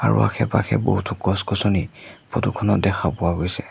আৰু আশে-পাশে বহুতো গছ-গছনি ফটো খনত দেখা পোৱা গৈছে।